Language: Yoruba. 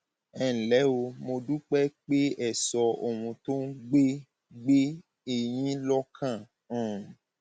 ẹ ǹlẹ o mo dúpẹ pé ẹ sọ ohun tó ń gbé gbé e yín lọkàn um